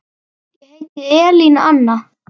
Ég heiti Elín Anna.